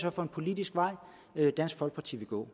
er for en politisk vej dansk folkeparti vil gå